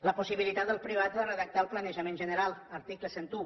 la possibilitat dels privats de redactar el planejament general article cent i un